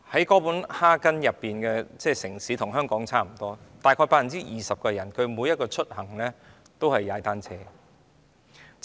哥本哈根與香港相差不遠，但當地約 20% 的市民使用單車出行。